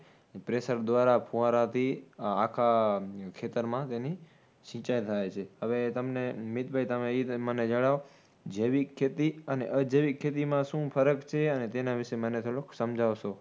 Pressure દ્વારા ફૂંવરાથી આખા ખેતરમાં તેની સિચાઈ થાય છે. હવે તમને, મીતભાઈ તમે એ તમે મને જણાવો જૈવિક ખેતી અને અજૈવિક ખેતીમાં શું ફરક છે? અને તેના વિષે મને થોડુક સમજાવશો.